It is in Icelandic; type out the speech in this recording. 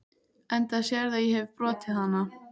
Enda sérðu að ég hefi brotið hana.